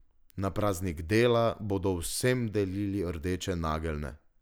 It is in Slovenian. Na praznik dela bodo vsem delili rdeče nageljne.